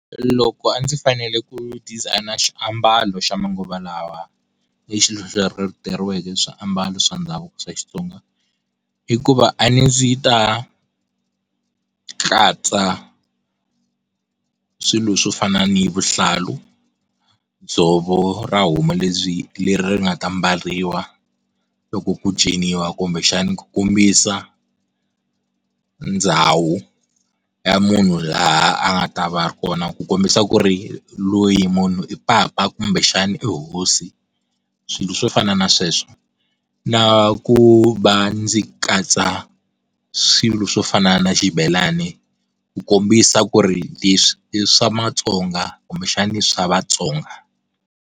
Loko a ndzi fanele ku designer xiambalo xa manguva lawa swiambalo swa ndhavuko swa Xitsonga hikuva a ndzi ta katsa swilo swo fana ni vuhlalu, dzovo ra homu lebyi leri nga ta mbariwa loko ku tsemiwa kumbe xana ku kombisa ndhawu ya munhu laha a nga ta va ri kona ku kombisa ku ri loyi i papa kumbexani i hosi, swilo swo fana na sweswo na ku va ndzi katsa swilo swo fana na xibelani ku kombisa ku ri le swi i swa matsonga kumbexani i swa vatsonga.